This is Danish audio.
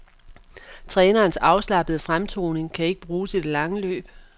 Trænerens afslappede fremtoning kan ikke bruges i det lange løb.